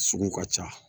Sugu ka ca